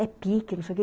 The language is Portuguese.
É pique, não sei o quê.